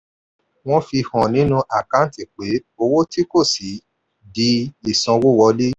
wọ́n fi hàn nínú àkántì pé owó tí kò sí di ìsanwówọlé.